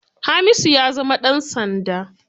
Hamisu ya zama ɗan sanda.